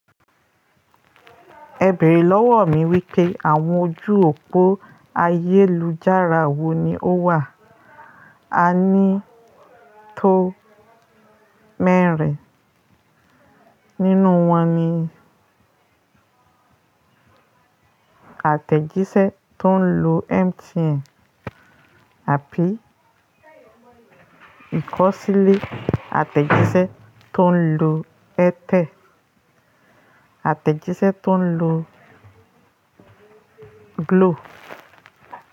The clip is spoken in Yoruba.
Ẹ bẹ̀rẹ̀ lọ́wọ́ mi wípé àwọn ojú òpó ayélujára wò ni ó wà? A ní tó mẹ́rin. Nínú wọn ni àtẹ̀jíṣẹ́ tó ń lo MTN àbí ìkọ̀sílẹ̀ àtẹ̀jíṣẹ́ tó ń lo Airtel, àtẹ̀jíṣẹ́ tó ń lo Glo.